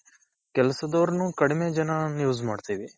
ಕೆಲಸದವರ್ನು ಕಡಿಮೆ ಜನಾ use ಮಾಡ್ತೀವಿ.